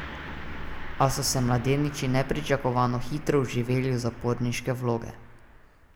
A so se mladeniči nepričakovano hitro vživeli v zaporniške vloge.